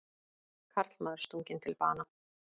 Karlmaður stunginn til bana